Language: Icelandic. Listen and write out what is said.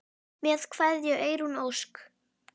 Með kveðju, Eyrún Ósk.